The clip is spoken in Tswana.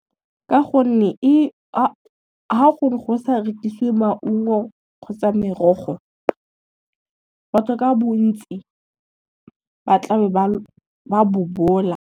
Ka gonne ga gongwe go sa rekisiwe maungo kgotsa merogo, batho ka bontsi ba tla be ba bobola.